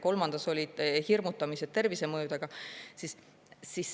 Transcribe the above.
Kolmandas olid hirmutamised tervisemõjudega.